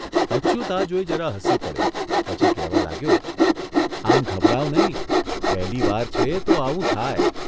અચ્યુત આ જોઇ જરા હસી પડ્યો પછી કહેવા લાગ્યોઃ ' આમ ઘબરાઓ નહીં, પહેલીવાર છે તો આવું થાય.